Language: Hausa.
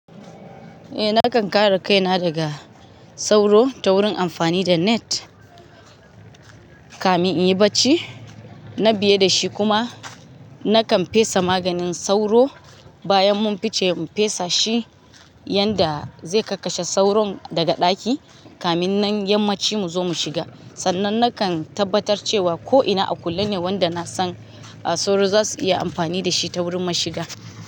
Eh nakan kara kaina daga sauro ta wurin amfani da net kamin in yi barci. Na biye da shi kuma nakan fesa maganin sauro bayan mun fice mu fesa shi, yanda zai kakkashe sauron daga ɗaki kamin nan yammacin mu zo mu shiga. Sannan nakan tabbatar cewa ko'ina a kulle ne wanda na san sauro za su iya amfani da shi ta wurin mashiga.